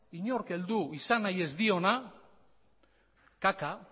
inork heldu nahi izan ez diona